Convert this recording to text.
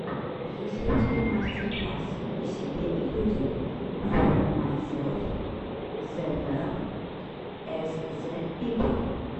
есть ли у тебя мастер класс и себе и людям фор майселф эз вэлл эз зэ пипл